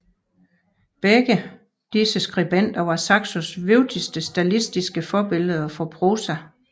Begge disse skribenter var Saxos vigtigste stilistiske forbilleder for prosa